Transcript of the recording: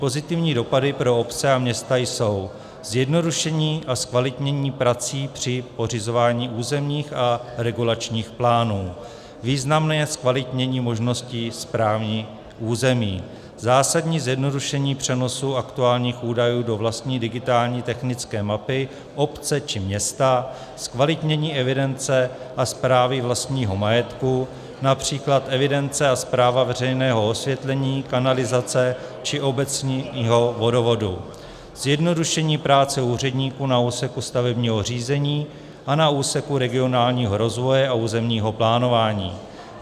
Pozitivními dopady pro obce a města jsou zjednodušení a zkvalitnění prací při pořizování územních a regulačních plánů, významné zkvalitnění možností správních území, zásadní zjednodušení přenosu aktuálních údajů do vlastní digitální technické mapy obce či města, zkvalitnění evidence a správy vlastního majetku, například evidence a správa veřejného osvětlení, kanalizace či obecního vodovodu, zjednodušení práce úředníků na úseku stavebního řízení a na úseku regionálního rozvoje a územního plánování.